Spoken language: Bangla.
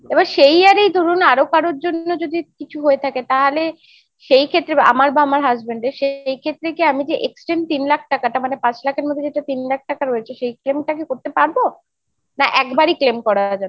সেই আর এই ধরুন আরো কারোর জন্য যদি কিছু হয়ে থাকে তাহলে সেই ক্ষেত্রে আমার বা আমার husband এর সে এই ক্ষেত্রে কি আমি যে extreme তিন লাখ টাকাটা মানে পাঁচ লাখের মধ্যে যেটা তিন লাখ টাকা রয়েছে সেই claim টা কি করতে পারবো? না একবারই claim করা যাবে?